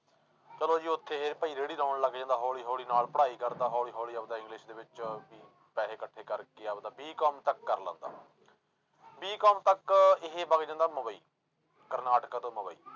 ਚਲੋ ਜੀ ਉੱਥੇ ਇਹ ਭਾਈ ਰੇੜੀ ਲਾਉਣ ਲੱਗ ਜਾਂਦਾ ਹੌਲੀ ਹੌਲੀ ਨਾਲ ਪੜ੍ਹਾਈ ਕਰਦਾ ਹੌਲੀ ਹੌਲੀ ਆਪਦਾ english ਦੇ ਵਿੱਚ ਵੀ ਪੈਸੇ ਇਕੱਠੇ ਕਰਕੇ ਆਪਦਾ B com ਤੱਕ ਕਰ ਲੈਂਦਾ B com ਤੱਕ ਇਹ ਵੱਗ ਜਾਂਦਾ ਮੁੰਬਈ, ਕਰਨਾਟਕਾ ਤੋਂ ਮੁੰਬਈ।